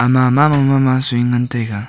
mamama ma soi ngun taiga.